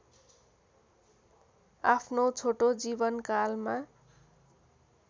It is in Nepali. आफ्नो छोटो जीवनकालमा